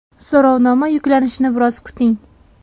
So‘rovnoma yuklanishini biroz kuting.